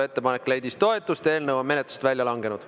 Ettepanek leidis toetust ja eelnõu on menetlusest välja langenud.